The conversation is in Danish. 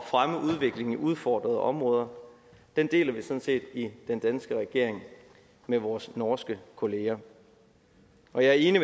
fremme udviklingen i udfordrede områder deler vi sådan set i den danske regering med vores norske kollegaer og jeg er enig